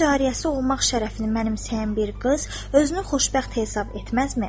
Cariyəsi olmaq şərəfini mənimsəyən bir qız özünü xoşbəxt hesab etməzmi?